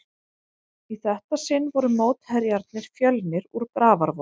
Í þetta sinn voru mótherjarnir Fjölnir úr Grafarvogi.